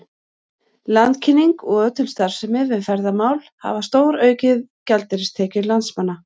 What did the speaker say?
Landkynning og ötul starfsemi við ferðamál hafa stóraukið gjaldeyristekjur landsmanna.